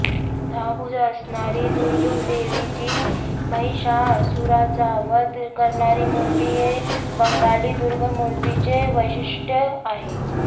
दहा भूजा असणारी दुर्गादेवीची महिषासुराचा वध करणारी मूर्ती हे बंगाली दुर्गामूर्तीचे वैशिष्ट्य आहे